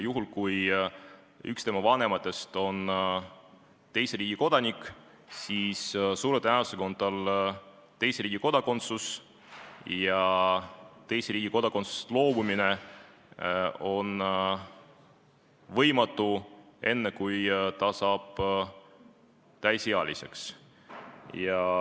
Juhul kui üks tema vanematest on teise riigi kodanik, siis suure tõenäosusega on tal teise riigi kodakondsus ja teise riigi kodakondsusest loobumine on võimatu enne, kui ta saab täisealiseks.